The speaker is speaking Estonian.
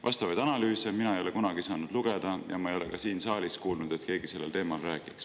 Vastavaid analüüse ei ole mina kunagi lugeda saanud ja ma ei ole ka siin saalis kuulnud, et keegi sellel teemal räägiks.